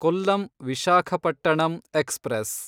Kollam Visakhapatnam express